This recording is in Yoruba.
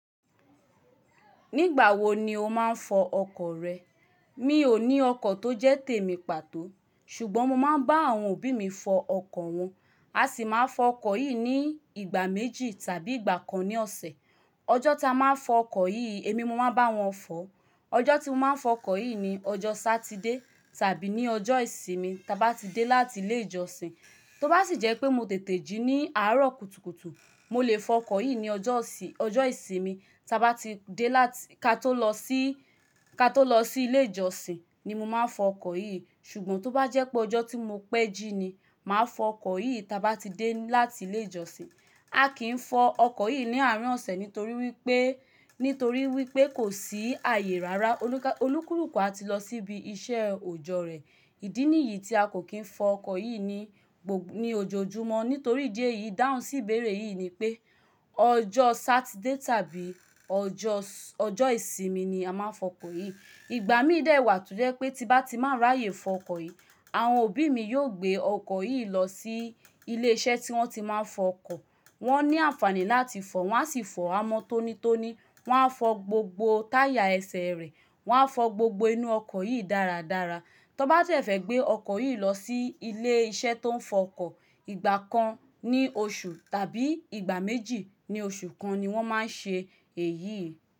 Nígbà wo ni o máa ń fọ ọkọ̀ rẹ? Mi ò ní ọkọ̀ tó jẹ́ tèmi pàtó ṣùgbọ́n mo máa ń bá àwọn òbí mi fọ ọkọ̀ wọn. A sì máa n fọ ọkọ̀ yìí ní ìgbà méjì tàbí ìgbà kan ní ọ̀sẹ̀. Ọjọ́ ta máa n fọ ọkọ̀ yìí, èmi mo máa n bá wọn fọ. Ọjọ́ tí mo máa n fọ ọkọ̀ yìí ni ọjọ́ Sátidé tàbí ní ọjọ́ ìsinmi ta bá ti dé láti ilé ìjọsìn. Tó bá sì jẹ́ pé mo tètè jí ní àárọ̀ kùtùkùtù, mo lè fọ ọkọ̀ yìí ní ojo osi ọjọ́ ìsinmi ta ba tide lati ka tó lọ sí ilé ìjọsìn ni mo máa n fọ ọkọ̀ yìí. Ṣùgbọ́n tó bá jẹ́ pé ọjọ́ tí mo pẹ́ jí ni, màá fọ ọkọ̀ yìí ta bá ti dé láti ilé ìjọsìn. A kì í fọ ọkọ̀ yìí ní àárín ọ̀sẹ̀ nítorí wipe nitori wípé kò sí àyè rárá. Olúkúlùkù a ti lọ síbi iṣẹ́ òojọ́ rẹ̀. Ìdí nìyí tí a kò kí n fọ ọkọ̀ yìí ni gbo ní ojoojúmọ́ nítorí idí ẹ̀yì. Dáhùn sí ìbéèrè yìí ni pé ọjọ́ Sátidé tàbí ojo ọjọ́ ìsinmi ni a máa ń fọ ọkọ̀ yìí. Ìgbà míì dẹ̀ wà to jẹ́ pé tí bá ti má ráyè fọ ọkọ̀ yìí, àwọn òbí mi yóò gbé ọkọ̀ yìí lọ sí ilé iṣẹ́ tí wọ́n tí máa ń fọ ọkọ̀. Wọ́n ní àǹfààní láti fọ, wọ́n á sì fọ a mọ́ tónítóní, wọ́n á fọ gbogbo táyà ẹsẹ̀ rẹ̀, wọ́n á fọ gbogbo inú ọkọ̀ yìí dáradára. Tan bá sẹ̀fẹ́ gbé ọkọ̀ yìí lọ sí ilé iṣẹ́ tó ń fọ ọkọ̀, ìgbà kan ní oṣù tàbí ìgbà méjì ní oṣù kan ni wọ́n máa ń ṣe èyí.